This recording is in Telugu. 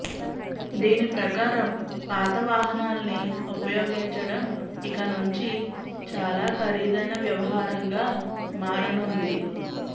దీని ప్రకారం పాత వాహనాల్ని ఉపయోగించడం ఇక నుంచి చాలా ఖరీదైన వ్యవహారంగా మారనుంది